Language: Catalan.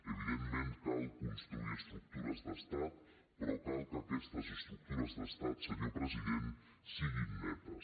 evi·dentment cal construir estructures d’estat però cal que aquestes estructures d’estat senyor president siguin netes